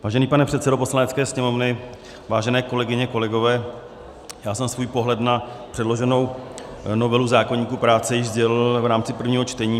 Vážený pane předsedo Poslanecké sněmovny, vážené kolegyně, kolegové, já jsem svůj pohled na předloženou novelu zákoníku práce již sdělil v rámci prvního čtení.